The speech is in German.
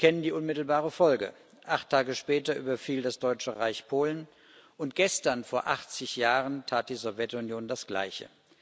Wir kennen die unmittelbare Folge Acht Tage später überfiel das Deutsche Reich Polen, und gestern vor 80 Jahren tat die Sowjetunion das Gleiche.